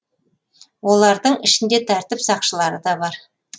олардың ішінде тәртіп сақшылары да бар